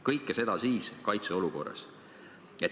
" Kõike seda siis kaitseolukorras.